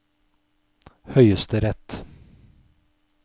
høyesterett